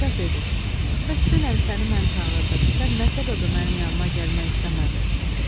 Padşah dedi: "Bəs dünən səni mən çağırdım, sən nə səbəbə mənim yanımaq gəlmək istəmədin?